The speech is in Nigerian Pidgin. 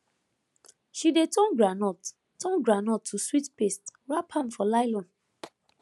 she dey turn groundnut turn groundnut to sweet paste wrap am for nylon